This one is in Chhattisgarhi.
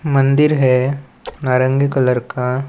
मंदिर हैं नारंगी कलर का--